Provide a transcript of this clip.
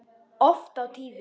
Oft á tíðum.